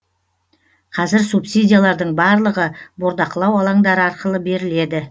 қазір субсидиялардың барлығы бордақылау алаңдары арқылы беріледі